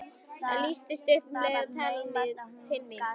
Það lýstist upp og um leið var talað til mín.